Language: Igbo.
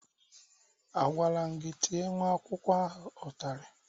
A gwaram gị, Tee nwa akwụkwọ ahụ ụtalị